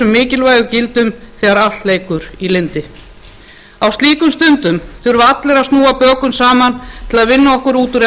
mikilvægu gildum þegar allt leikur í lyndi á slíkum stundum þurfa allir að snúa bökum saman til að vinna okkur út úr